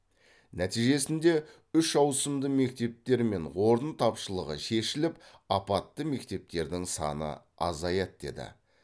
нәтижесінде үш ауысымды мектептер мен орын тапшылығы шешіліп апатты мектептердің саны азаяды деді